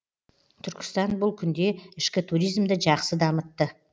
түркістан бұл күнде ішкі туризмді жақсы дамытты